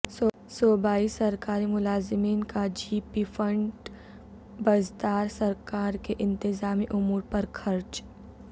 صوبائی سرکاری ملازمین کا جی پی فنڈ بزدار سرکار کے انتظامی امور پر خرچ